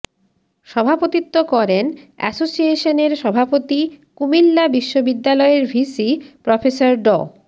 সভাপতিত্ব করেন এসোসিয়েশনের সভাপতি কুমিল্লা বিশ্ববিদ্যালয়ের ভিসি প্রফেসর ড